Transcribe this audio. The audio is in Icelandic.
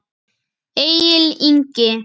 Egill Ingi.